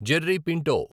Jerry Pinto